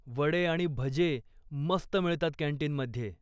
वडे आणि भजे मस्त मिळतात कॅन्टीनमध्ये.